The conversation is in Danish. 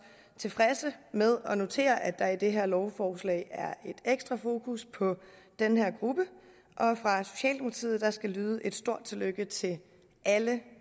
tilfredse med at notere at der i det her lovforslag er et ekstra fokus på den her gruppe og skal lyde et stort tillykke til alle